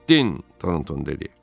Getdin, Tornton dedi.